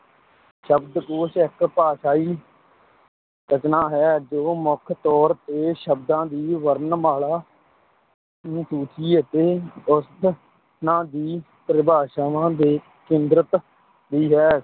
ਸ਼ਬਦਕੋਸ਼ ਇੱਕ ਭਾਸ਼ਾਈ ਰਚਨਾ ਹੈ ਜੋ ਮੁੱਖ ਤੌਰ ਤੇ ਸ਼ਬਦਾਂ ਦੀ ਵਰਣਮਾਲਾ ਅਨਸੂਚੀ ਅਤੇ ਉਸ ਨਾ ਦੀ ਪਰਿਭਾਸ਼ਾਵਾਂ ਤੇ ਕੇਂਦਰਤ ਹੈ।